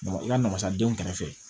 i ka na wasa den kɛrɛfɛ